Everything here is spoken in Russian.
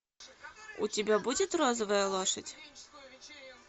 у тебя будет розовая лошадь